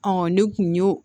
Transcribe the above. ne kun y'o